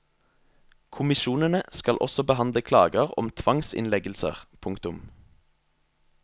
Kommisjonene skal også behandle klager om tvangsinnleggelser. punktum